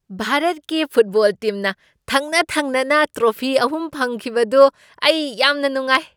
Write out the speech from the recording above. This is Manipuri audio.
ꯚꯥꯔꯠꯀꯤ ꯐꯨꯠꯕꯣꯜ ꯇꯤꯝꯅ ꯊꯪꯅ ꯊꯪꯅꯅ ꯇ꯭ꯔꯣꯐꯤ ꯑꯍꯨꯝ ꯐꯪꯈꯤꯕꯗꯨ ꯑꯩ ꯌꯥꯝꯅ ꯅꯨꯡꯉꯥꯏ꯫